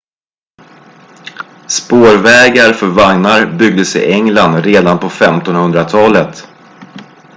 spårvägar för vagnar byggdes i england redan på 1500-talet